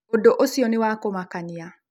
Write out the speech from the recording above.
ũndũ ũcio nĩ wa kũmakanĩa.